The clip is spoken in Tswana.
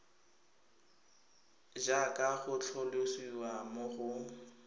jaaka go tlhalosiwa mo go